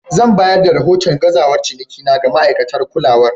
Zan bayar da rahoton gazawar cinikina ga ma'aikatan kulawar.